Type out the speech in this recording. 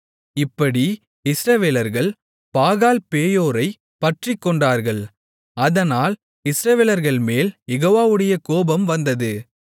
இப்படி இஸ்ரவேலர்கள் பாகால்பேயோரைப் பற்றிக்கொண்டார்கள் அதனால் இஸ்ரவேலர்கள்மேல் யெகோவாவுடைய கோபம் வந்தது